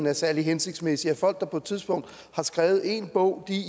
er særlig hensigtsmæssigt at folk der på et tidspunkt har skrevet én bog